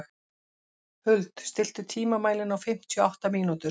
Huld, stilltu tímamælinn á fimmtíu og átta mínútur.